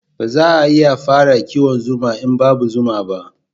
Ba za a iya fara kiwon zuma in babu zuma ba